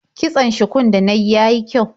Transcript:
Kitson shukun da na yi ya yi kyau.